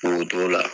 K'o t'o la